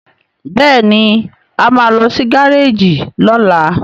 Béèni a má ló sì Gáréèjì lola.